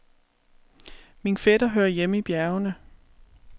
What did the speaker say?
Min fætter hører hjemme i bjergene.